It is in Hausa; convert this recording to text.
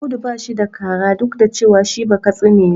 Audu ba shi da kara duk da cewa shi Bakatsi ne.